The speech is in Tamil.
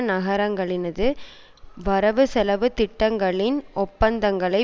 நகரங்களினது வரவு செலவு திட்டங்களின் ஒப்பந்தங்களை